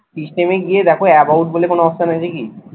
system এ গিয়ে দেখো about বলে কোনো option আছে কি?